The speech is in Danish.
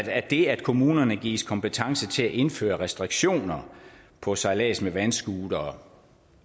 at det at kommunerne gives kompetence til at indføre restriktioner på sejlads med vandscootere